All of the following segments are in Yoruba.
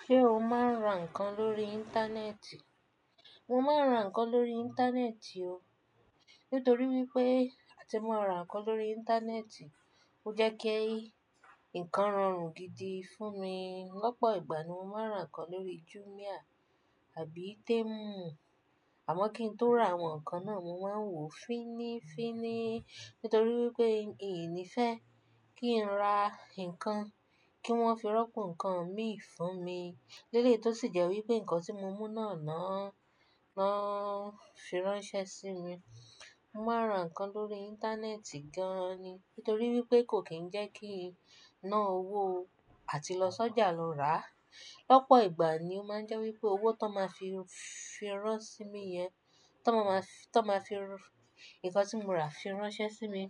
Ṣé o máa ń ra nǹkan lórí íńtánẹ́ẹ̀tì? Mo máa ń ra nǹkan lórí íńtánẹ́ẹ̀tì o. Nítorí wípé àti mo ra nǹkan lórí íńtánẹ́ẹ̀tì, ó jẹ́ kí nǹkan rọrùn gidi fún mi. Lọ́pọ̀ ìgbà ni mo máa ń ra nǹkan lórí Jumia àbí Temu. Àmọ́ kí n tó ra àwọn nǹkan náà, mo máa ń wò fínnífínní. Nítorí wípé mi ò ní fẹ́ kí n ra nǹkan kí wọ́n fi rọ́pò nǹkan mi fún mi. Lélè tó sì jẹ́ wípé nǹkan tí mo mú náà náà, náà fi ránṣẹ́ sí mi. Mo máa ra nǹkan lórí íńtánẹ́ẹ̀tì gan-an ni. Nítorí wípé kò kín ń jẹ́ kí n ná owó àti lọ sọ́jà lọ rà á. Lọ́pọ̀ ìgbà ni ó máa ń jẹ́ wípé owó tó máa fi fi rán sí mi yẹn, tó máa máa fi-- tó máa fi nǹkan tí mo rà fi ránṣẹ́ sí mi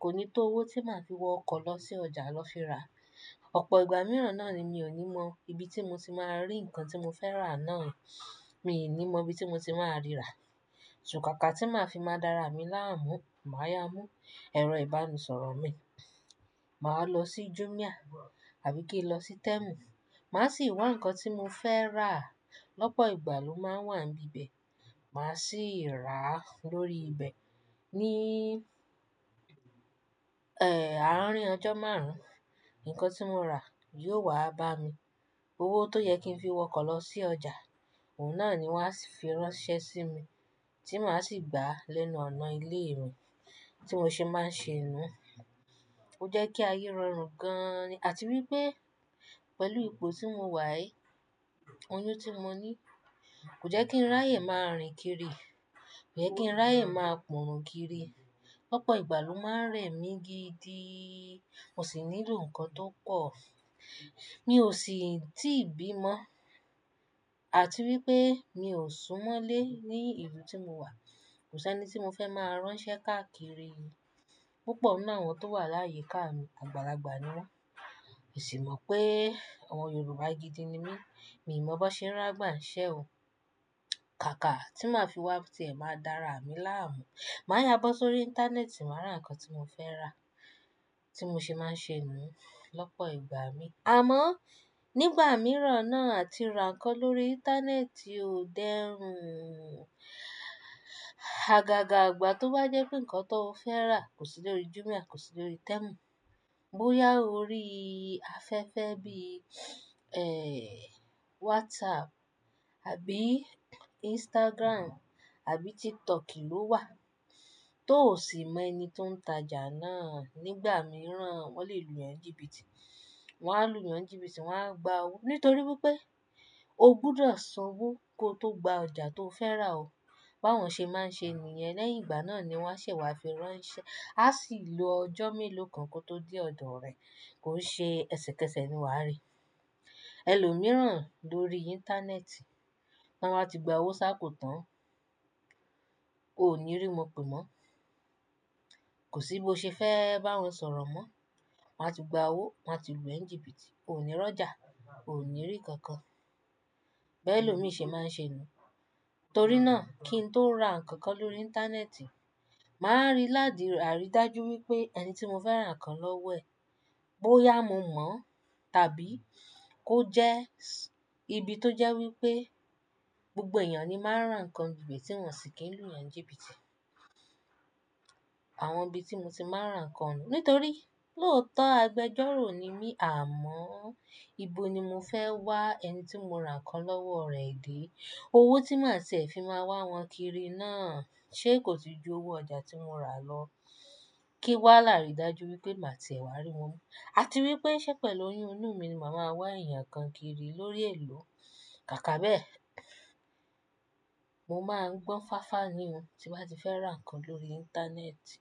kò ní tó owó tí màá fi wọ ọkọ̀ lọ sí ọjà lọ fi ra. Ọ̀pọ̀ ìgbà mìíràn náà ni mi ò ní mọ ibi tí mo ti máa rí nǹkan tí mo fẹ́ rà náà. Mi ò ní mọ ibi tí mo ti máa ríra. Káàkà tí màá fi máa dára mi láàmú, màá yá mú ẹ̀rọ ìbánisọ̀rọ̀ mi. Màá lọ sí Jumia àbí kí n lọ sí Temu. Màá sì wá nǹkan tí mo fẹ́ rà. Lọ́pọ̀ ìgbà ló máa ń wà ní ibi bẹ̀. Màá sì rà á lórí ibẹ̀. Ni, ẹ́ẹ́, àárín ọjọ́ márùn-ún, nǹkan tí mo rà yóò wá bá mi. Owó tó yẹ kí n fi wọkọ̀ lọ sí ọjà, òun náà ni wọ́n á fi ránṣẹ́ sí mi tí màá sì gbà á lẹ́nu ọ̀nà ilé mi tí mo ṣe máa ń ṣe nú. Ó jẹ́ kí ayé rọrùn gan-an ni. Àti wípé pẹ̀lú ipò tí mo wà aí, oyún tí mo ní kò jẹ́ kí n ráyè máa rìn kiri. Kò jẹ́ kí n ráyè máa pọ́ orun kiri. Lọ́pọ̀ ìgbà ló máa ń rẹ̀ mí gidi. Mo sì n'ilò nǹkan tó pọ̀. Mi ò sì ti bí mọ́. Àti wípé mi ò súnmọ́lé ní ìlú tí mo wà. Kò sí ẹni tí mo fẹ́ máa ránṣẹ́ káàkiri. Púpọ̀ nínú àwọn tó wà láyi ká mi àgbàlagbà ni wọ́n. Èsì mọ̀ pé ọmọ Yorùbá gidi ni mí. Mi ò mọ̀ bó ṣe ń rán agbà ń ṣẹ́ o. Kàkà tí màá fi wá ti ẹ̀ máa dára mi láàmú. Màá yá bó sórí íńtánẹ́ẹ̀tì, màá ra nǹkan tí mo fẹ́ rà tí mo ṣe máa ń ṣe nú lọ́pọ̀ ìgbà mi. Àmọ́ nígbà mìíràn náà tí ó ra nǹkan lórí íńtánẹ́ẹ̀tì o dẹ́rùn. Àgàgà ìgbà tó bá jẹ́ pé nǹkan tó o fẹ́ rà kò sí lórí Jumia, kò sí lórí Temu. Bóyá o rí afẹ́fẹ́ bí, ẹ́ẹ́, WhatsApp àbí Instagram àbí TikTok ló wà, tó sì mọ ẹni tó ń tajà náà. Nígbà mìíràn wọ́n lè lu e ńjíbìtì. Wọn á lu e ńjíbìtì, wọ́n á gba owó. Nítorí wípé o gbúdọ̀ san owó kó tó gba ọjà tó fẹ́ rà o. Bá wọn ṣe máa ń ṣe nìyẹn lẹ́yìn ìgbà náà ni wọ́n ṣẹ̀ wá fi ránṣẹ́. A sì lo ọjọ́ mélòó kan kó tó dé ọ̀dọ̀ rẹ kó ṣe ẹsẹ̀kẹsẹ̀ ni wá rí. Ẹlòmíràn lórí íńtánẹ́ẹ̀tì tí wọ́n bá ti gba owó ṣá kò tán, o ní rí wọn pè mọ́. Kò sí bó ṣe fẹ́ bá wọn sọ̀rọ̀ mọ́. Wọ́n á ti gba owó, wọ́n á ti lu e ńjíbìtì. O ní rọ́jà, o ní rí kankan. Bi e lo mi ṣe máa ń ṣe nú. Torí náà kí n tó ra nǹkan kan lórí íńtánẹ́ẹ̀tì, màá rí láti àrí dájú wípé ẹni tí mo fẹ́ ra nǹkan lọ́wọ́ ẹ̀, bóyá mo mọ̀ tàbí kó jẹ́ ibi tó jẹ́ wípé gbogbo èèyàn ni máa ń ra nǹkan níbẹ̀ tí wọ́n sì kì í lu e ńjíbìtì. Àwọn ibi tí mo ti máa ń ra nǹkan. Nítorí lóòótọ́ agbẹjọ́rò ni mí, àmọ́ ibo ni mo fẹ́ wá ẹni tí mo ra nǹkan lọ́wọ́ rẹ̀ dé? Owó tí màá tì ẹ fi máa wá wọn kiri náà ṣé kò ti ju owó ọjà tí mo rà lọ? Kí wá làárì dájú wípé màá ti ẹ wá rí wọn mú. Àti wípé ṣé pẹ̀lú oyún inú mi ni màá máa wá ẹ̀yàn kan kiri lórí èèló? Kàkà bẹ́ẹ̀, mo máa ń gbọ́n fáfa ni o tí mo bá ti fẹ́ ra nǹkan lórí íńtánẹ́ẹ̀tì.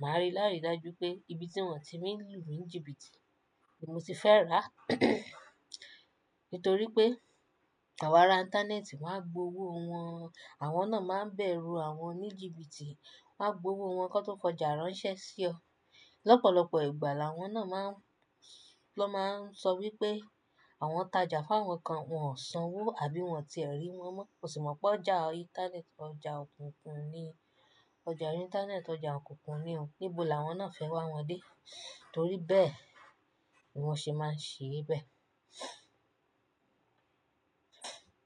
Màá rí láti dájú pé ibi tí wọ́n ti ni lù mi ńjíbìtì ni mo ti fẹ́ rà. Nítorí pé àwọn ara íńtánẹ́ẹ̀tì máa gbowó wọn. Àwọn náà máa ń bẹ̀rù àwọn oníjìbìtì, wọ́n á gbowó wọn kó tó fi ọjà ránṣẹ́ sí ọ. Lọ́pọ̀lọpọ̀ ìgbà làwọn náà má ń-- ló máa ń sọ wípé àwọn tajà f'áwọn kan wọn ò san owó àbí wọn ti ẹ̀ rí wọn mọ́. O sì mọ̀ pé ọjà íńtánẹ́ẹ̀tì, ọjà òkùnkùn ni, ọjà íńtánẹ́ẹ̀tì ọjà òkùnkùn ni o. Nibó làwọn náà fẹ́ wá wọn dé? Torí bẹ́ẹ̀ ni wọ́n ṣe máa ń ṣe bẹ́ẹ̀.